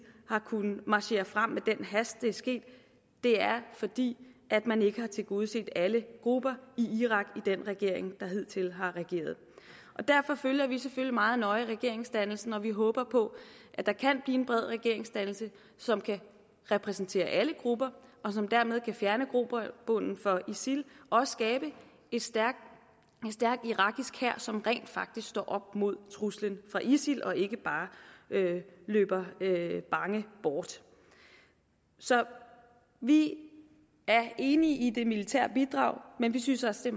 har kunnet marchere frem med den hast det er sket er fordi man ikke har tilgodeset alle grupper i irak i den regering der hidtil har regeret derfor følger vi selvfølgelig meget nøje regeringsdannelsen og vi håber på at der kan blive en bred regeringsdannelse som kan repræsentere alle grupper og som dermed kan fjerne grobunden for isil og skabe en stærk irakisk hær som rent faktisk står op mod truslen fra isil og ikke bare løber bange bort så vi er enige i det militære bidrag men vi synes også